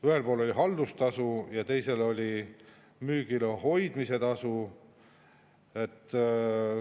Ühel pool oli haldustasu ja teisel pool oli müügil hoidmise tasu.